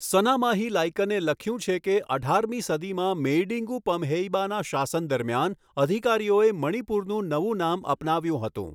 સનામાહી લાઈકને લખ્યું છે કે અઢારમી સદીમાં મેઈડિંગુ પમહેઇબાના શાસન દરમિયાન અધિકારીઓએ મણિપુરનું નવું નામ અપનાવ્યું હતું.